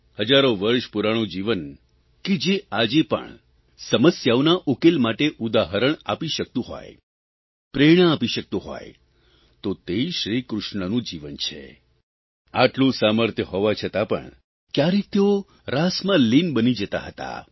હજારો વર્ષ પુરાણું જીવન કે જે આજે પણ સમસ્યાઓના ઉકેલ માટે ઉદાહરણ આપી શકતું હોય પ્રેરણા આપી શકતું હોય તો તે શ્રીકૃષ્ણનું જીવન છે આટલું સામર્થ્ય હોવા છતાં પણ કયારેક તેઓ રાસમાં લીન બની જતા હતા